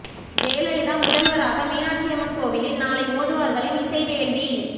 ஜெயலலிதா முதல்வராக மீனாட்சி அம்மன் கோவிலில் நாளை ஓதுவார்களின் இசைவேள்வி